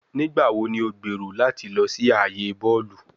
Nigbawo ni o gbero lati lọ si aaye bọọlu?